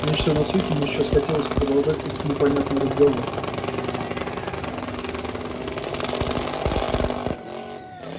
меньше всего на свете ему сейчас хотелось продолжать этот непонятный разговор